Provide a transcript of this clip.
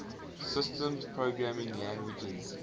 systems programming languages